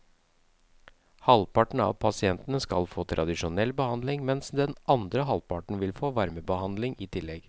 Halvparten av pasientene skal få tradisjonell behandling, mens den andre halvparten vil få varmebehandling i tillegg.